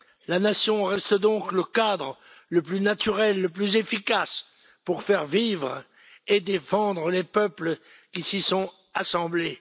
La nation reste donc le cadre le plus naturel et le plus efficace pour faire vivre et défendre les peuples qui s'y sont assemblés.